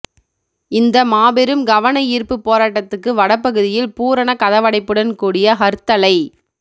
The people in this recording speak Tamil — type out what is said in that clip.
இந்த மாபெரும் கவனயீர்ப்புப் போராட்டத்துக்கு வடபகுதியில் பூரண கதவடைப்புடன் கூடிய ஹர்த்தலை